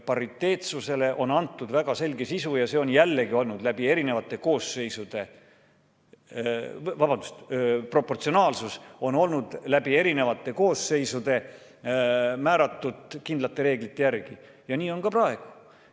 Proportsionaalsusele on antud väga selge sisu, see on jällegi olnud läbi eri koosseisude määratud kindlate reeglite järgi ja nii on ka praegu.